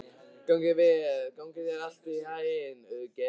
Gangi þér allt í haginn, Auðgeir.